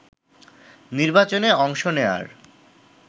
নির্বাচনে অংশ নেয়ার